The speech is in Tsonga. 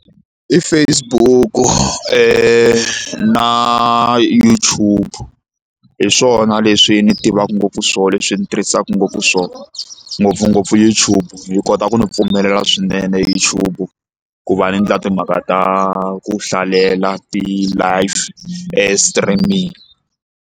I Facebook na YouTube hi swona leswi ni tivaka ngopfu swona leswi ndzi tirhisaka ngopfu swona ngopfungopfu YouTube yi kota ku ndzi pfumelela swinene YouTube ku va ni endla timhaka ta ku hlalela ti-live streaming.